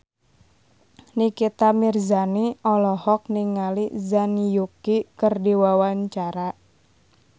Nikita Mirzani olohok ningali Zhang Yuqi keur diwawancara